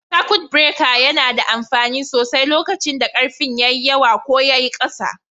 Sakut bireka yana da amfani sosai lokacin da karfin yawa ko yayi ƙasa.